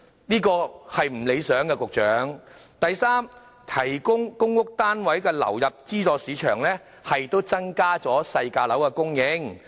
局長，這情況並不理想；第三，提供公屋單位流入資助市場，亦可增加細價樓的供應。